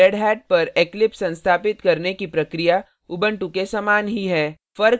redhat पर eclipse संस्थापित करने की प्रक्रिया उबंटु के समान ही है